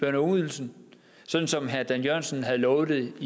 ungeydelsen sådan som herre dan jørgensen havde lovet